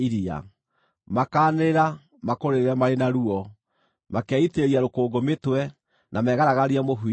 Makaanĩrĩra, makũrĩrĩre marĩ na ruo; makeitĩrĩria rũkũngũ mĩtwe, na megaragarie mũhu-inĩ.